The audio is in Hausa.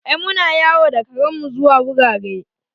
Ai muna yawo da karen mu zuwa wurare